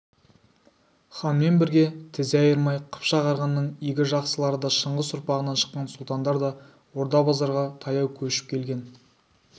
ханмен бірге тізе айырмай қыпшақ арғынның игі жақсылары да шыңғыс ұрпағынан шыққан сұлтандар да орда-базарға таяу көшіп келген